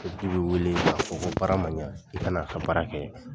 Sotigi b'i wele k'a fɔ ko baara man ɲɛ. I ka n'a ka baara kɛ.